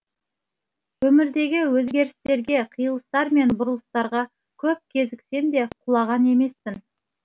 өмірдегі өзгерістерге қиылыстар мен бұрылыстарға көп кезіксем де құлаған емеспін